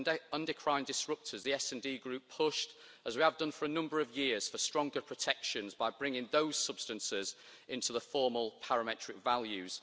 On endocrine disruptors, the SD Group pushed, as we have done for a number of years, for stronger protections by bringing those substances into the formal parametric values.